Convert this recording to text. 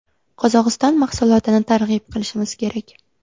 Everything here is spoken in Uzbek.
Qozog‘iston mahsulotini targ‘ib qilishimiz kerak.